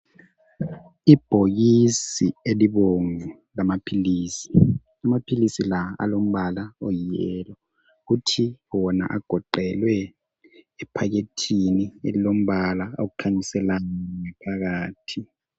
Ibhokisi elibomvu lamaphilisi, amaphilisi la alombala oyi yellow kuthi wona agoqelwe ephepheni elilombala okhanyisela ngaphakathi.